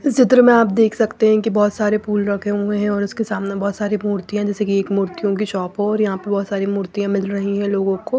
इस चित्र में आप देख सकते हैं कि बहुत सारे फूल रखे हुए हैं और उसके सामने बहुत सारी मूर्तियां जैसे कि एक मूर्तियों की शॉप हो और यहाँ पर बहुत सारी मूर्तियाँ मिल रही हैं लोगों को।